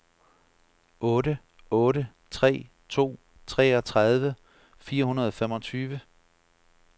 otte otte tre to treogtredive fire hundrede og femogtyve